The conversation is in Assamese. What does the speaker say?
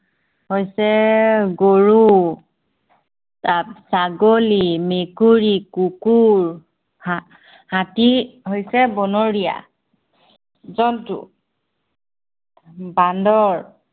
হৈছে গৰু ছা~ছাগলী, মকুৰী, কুকুৰ, হা~হাতী হৈছে বনৰীয়া জন্তু বান্দৰ